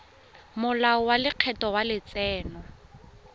molao wa lekgetho wa letseno